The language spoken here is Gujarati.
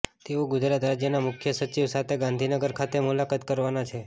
તેઓ ગુજરાત રાજ્યનાં મુખ્ય સચિવ સાથે ગાંધીનગર ખાતે મુલાકાત કરવાનાં છે